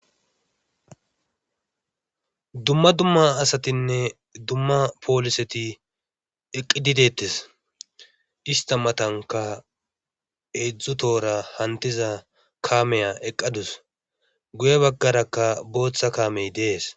dumma dumma asatinne dumma pooliseti eqqidi dettes ista matanka hedzdzu toora hantiza kameya eqqadus guye baggarakka booththa kaamey dees